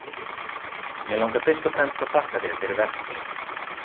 Mig langar fyrst og fremst að þakka þér fyrir verk þín.